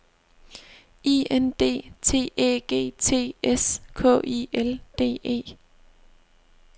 I N D T Æ G T S K I L D E